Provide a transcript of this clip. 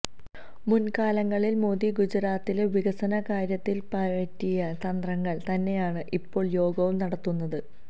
മുൻകാലങ്ങളിൽ മോദി ഗുജറാത്തിലെ വികസന കാര്യത്തിൽ പയറ്റിയ തന്ത്രങ്ങൾ തന്നെയാണ് ഇപ്പോൾ യോഗിയും നടത്തുന്നത്